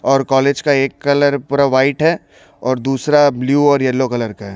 और कॉलेज का एक कलर पूरा वाइट है और दूसरा ब्लू और येलो कलर का है।